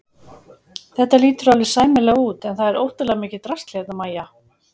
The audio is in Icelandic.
Þetta lítur alveg sæmilega út en það er óttalega mikið drasl hérna MÆJA!